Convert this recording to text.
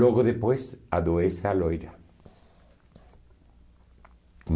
Logo depois, adoece a loira.